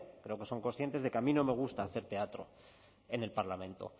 creo que son conscientes de que a mí no me gusta hacer teatro en el parlamento